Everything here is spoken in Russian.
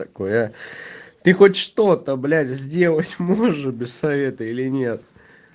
такое ты хоть что-то блять сделать можешь без совета или нет